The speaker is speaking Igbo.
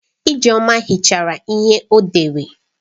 Ijeoma hichara ihe o dere.